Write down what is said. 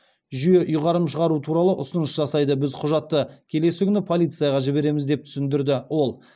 жүйе ұйғарым шығару туралы ұсыныс жасайды біз құжатты келесі күні полицияға жібереміз деп түсіндірді ол